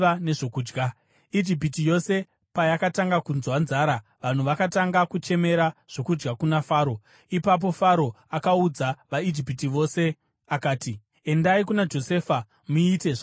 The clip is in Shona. Ijipiti yose payakatanga kunzwa nzara, vanhu vakatanga kuchemera zvokudya kuna Faro. Ipapo Faro akaudza vaIjipita vose akati, “Endai kuna Josefa muite zvaanokuudzai.”